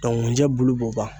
ŋunjɛ bulu b'o ban.